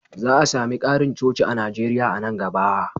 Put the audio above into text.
Za a sami ƙarin coci a Najeriya a nan gaba.